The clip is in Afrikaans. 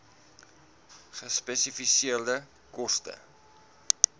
gespesifiseerde koste